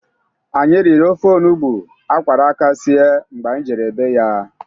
Anyi riri ofe onugbu a kwara aka sie mgbe anyị jere be ya.